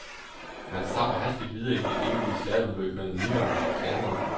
Man zapper hastigt videre i det evige slalomløb mellem nitterne og reklamerne.